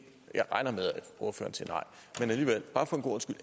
årsagen til